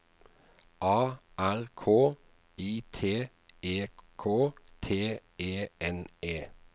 A R K I T E K T E N E